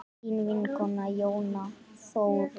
Þín vinkona Jóna Þórunn.